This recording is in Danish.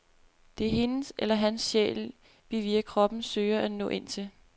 Det er hendes eller hans sjæl, vi via kroppen søger at nå ind til.